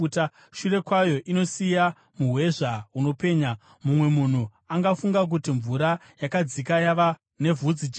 Shure kwayo inosiya muhwezva unopenya; mumwe munhu angafunga kuti mvura yakadzika yava nevhudzijena.